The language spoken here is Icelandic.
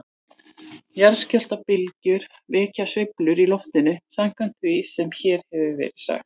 Jarðskjálftabylgjur vekja sveiflur í loftinu samkvæmt því sem hér hefur verið sagt.